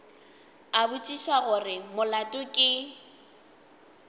a botšiša gore molato ke